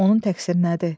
Onun təqsiri nədir?